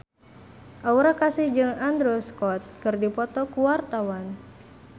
Aura Kasih jeung Andrew Scott keur dipoto ku wartawan